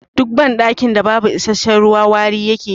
Duk ban ɗakin wanka da babu isasshen ruwa wari yake yi